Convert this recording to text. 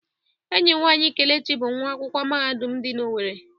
Enyi nwanyị Kelechi bụ nwa akwụkwọ mahadum dị na Owerri.